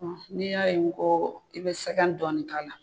n'i y'a ye n ko i bɛ sɛgɛn dɔɔni k'a la.